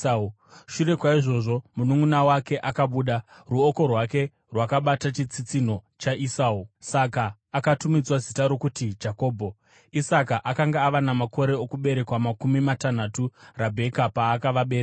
Shure kwaizvozvo, mununʼuna wake akabuda, ruoko rwake rwakabata chitsitsinho chaEsau; saka akatumidzwa zita rokuti Jakobho. Isaka akanga ava namakore okuberekwa makumi matanhatu Rabheka paakavabereka.